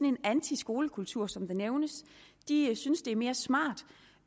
en antiskolekultur som der nævnes de synes det er mere smart